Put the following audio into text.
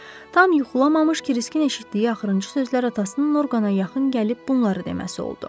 Tam yuxulamamış Kriskin eşitdiyi axırıncı sözlər atasının Orqana yaxın gəlib bunları deməsi oldu.